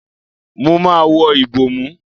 Mo máa wọ ìbòmú.